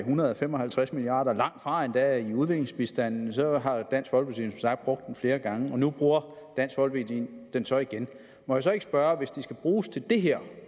hundrede og fem og halvtreds milliard kroner langtfra endda i udviklingsbistanden så har dansk folkeparti som sagt brugt dem flere gange og nu bruger dansk folkeparti dem så igen må jeg så ikke spørge hvis de skulle bruges til det her